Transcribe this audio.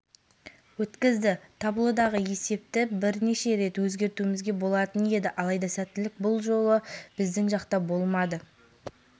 осымен ойыннан ұпайы бар елордалықтар шығыс конференциясында әзірге орында келеді келесі кездесуін ақпан күні астанада хельсинкидің йокерит ұжымымен өткізеді